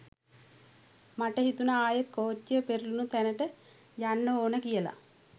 මට හිතුණ ආයෙත් කෝච්චිය පෙරලුණ තැනට යන්න ඕන කියල.